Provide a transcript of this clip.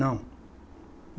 Não.